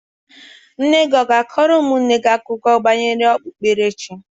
Nne gị ọ na-akọrọ ụmụnne gị akụkọ banyere okpukperechi?